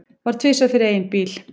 Varð tvisvar fyrir eigin bíl